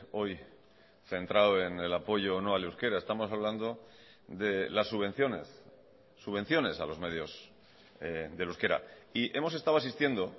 hoy centrado en el apoyo o no al euskera estamos hablando de las subvenciones subvenciones a los medios del euskera y hemos estado asistiendo